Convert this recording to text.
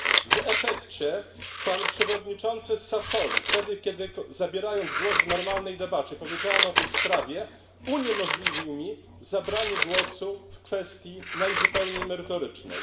W efekcie pan przewodniczący Sassoli, wtedy kiedy zabierając głos w normalnej debacie powiedziałem o tej sprawie, uniemożliwił mi zabranie głosu w kwestii najzupełniej merytorycznej.